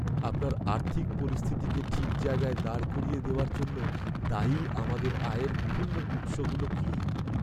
আপনার আর্থিক পরিস্থিতিকে ঠিক জায়গায় দাঁড় করিয়ে দেওয়ার জন্য দায়ী আমাদের আয়ের বিভিন্ন উৎসগুলো কি?